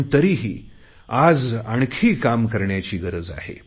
पण तरीही आज आणखी काम करण्याची गरज आहे